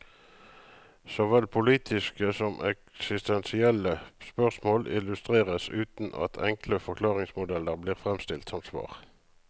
Såvel politiske som eksistensielle spørsmål illustreres, uten at enkle forklaringsmodeller blir fremstilt som svar.